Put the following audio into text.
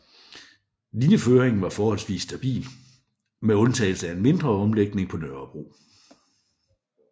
Linjeføringen var forholdsvis stabil med undtagelse af en mindre omlægning på Nørrebro